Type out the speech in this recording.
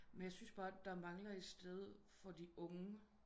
Men jeg syntes bare der mangler et sted for de unge